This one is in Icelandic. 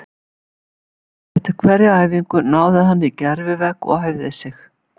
Eftir hverja æfingu náði hann í gervi-vegg og æfði sig.